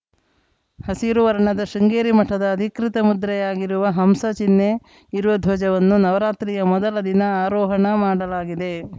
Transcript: ಹಸಿರು ವರ್ಣದ ಶೃಂಗೇರಿ ಮಠದ ಅಧಿಕೃತ ಮುದ್ರೆಯಾಗಿರುವ ಹಂಸ ಚಿಹ್ನೆ ಇರುವ ಧ್ವಜವನ್ನು ನವರಾತ್ರಿಯ ಮೊದಲ ದಿನ ಆರೋಹಣ ಮಾಡಲಾಗಿದೆ